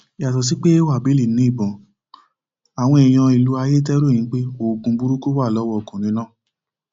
yàtọ sí pé wábìlì ni ìbọn àwọn èèyàn ìlú ayéte ròyìn pé oògùn burúkú wà lọwọ ọkùnrin náà